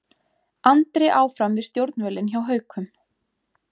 Andri áfram við stjórnvölinn hjá Haukum